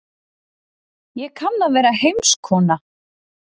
Ég kann að vera heimskona.